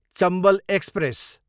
Chambal express